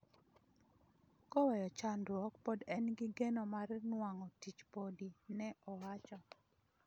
koweyo chandruok pod en gi geno mar nuang'o tich podi," ne owacho